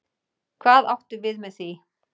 Hvað áttu við með því?